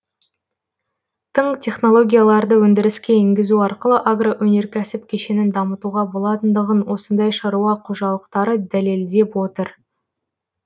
тың технологияларды өндіріске енгізу арқылы агроөнеркәсіп кешенін дамытуға болатындығын осындай шаруа қожалықтары дәлелдеп отыр